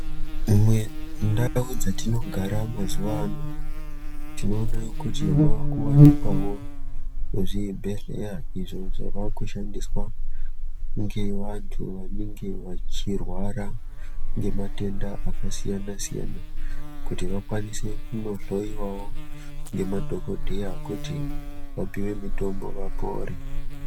Imwe ndau dzatinogara mazuwa ano tinoona kuti mwakuwanikwawo zvibhedhleya izvo zvakushandiswa ngeantu vanenge vachirwara ngematenda akasiyana siyana kuti vakwanise kunohloiwawo ngemadhokodheya kuti vapuwe mutombo vapore.